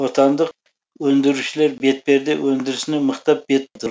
отандық өндірушілер бетперде өндірісіне мықтап бет бұрды